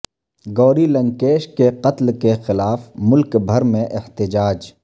گوری لنکیش کے قتل کے خلاف ملک بھر میں احتجاج